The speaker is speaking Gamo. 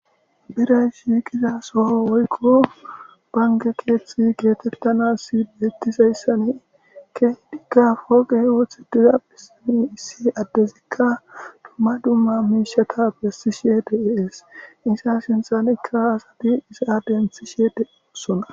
biray shiqiza soho woykko banke keththi geetettanas kexetizyasan keehidika pooqey oththetiza bissani issi addezikka dumma dumma miishata besishe de is iza sinthanikka asati iza denthishe desona